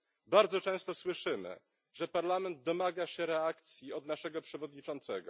Bardzo często słyszymy, że Parlament domaga się reakcji od naszego przewodniczącego.